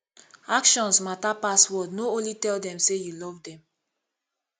actions matter pass word no only tell them sey you love them